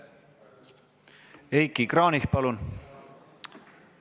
Heiki Kranich, palun!